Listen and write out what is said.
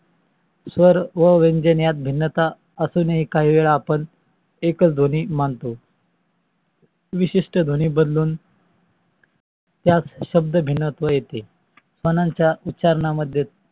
स्वर आणि व्यंजने यात भिनत असूनही आपण काही वेळा आपण एकाच ध्वनी मानतो विशिष्ट ध्वनी बदलून त्यास शब्द भिनात्व येते. म्हणून त्यास शब्द उच्चारणा मध्ये